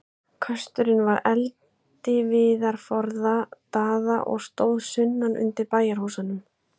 Kösturinn var eldiviðarforði Daða og stóð sunnan undir bæjarhúsunum.